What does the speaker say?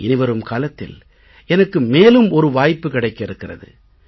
இனி வரும் காலத்தில் எனக்கு மேலும் ஒரு வாய்ப்பு கிடைக்க இருக்கிறது